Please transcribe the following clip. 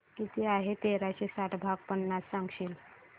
किती आहे तेराशे साठ भाग पन्नास सांगशील